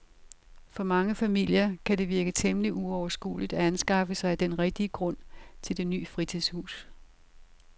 For mange familier kan det virke temmelig uoverskueligt at anskaffe sig den rigtige grund til det nye fritidshus.